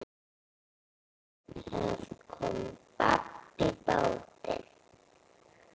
Það kom babb bátinn.